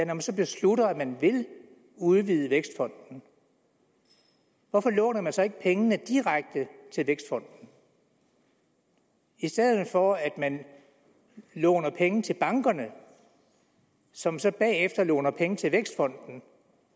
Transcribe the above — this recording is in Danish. man så beslutter at man vil udvide vækstfonden hvorfor låner man så ikke pengene direkte til vækstfonden i stedet for at man låner penge til bankerne som så bagefter låner penge til vækstfonden